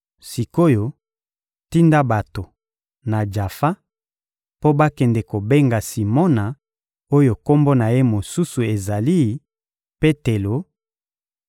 Sik’oyo, tinda bato, na Jafa, mpo bakende kobenga Simona oyo kombo na ye mosusu ezali «Petelo;»